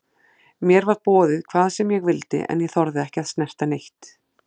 Mér var boðið hvað sem ég vildi en ég þorði ekki að snerta neitt.